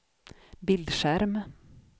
bildskärm